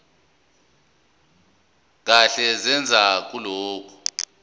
kahle neze kulokho